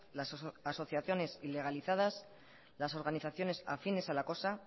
las asociaciones ilegalizadas las organizaciones afines a la cosa